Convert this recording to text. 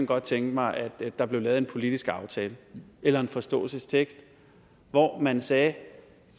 godt tænke mig at der blev lavet en politisk aftale eller en forståelsestekst hvor man sagde